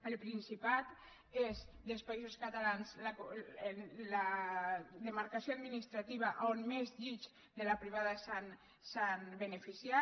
el principat és dels països catalans la demarcació administrativa on més llits de la privada s’han beneficiat